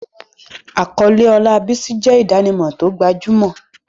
Àkọlé ọlá Bisi jẹ́ ìdánimọ̀ tó gbajúmọ̀.